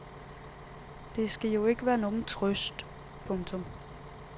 Det skal jo ikke være nogen trøst. punktum